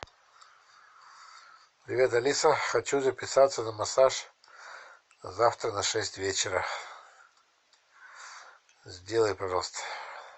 привет алиса хочу записаться на массаж завтра на шесть вечера сделай пожалуйста